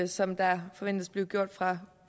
som der forventes at blive gjort fra